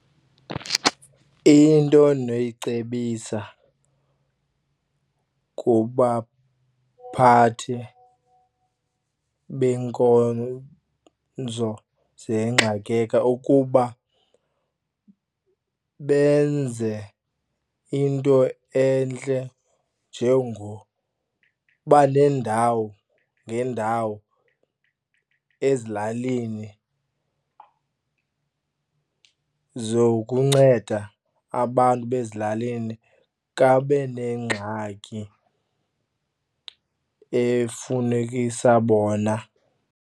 Into endinoyicebisa kubaphathi beenkonzo ukuba benze into entle njengoba neendawo ngeendawo ezilalini zokunceda abantu basezilalini xa benengxaki efunekisa bona.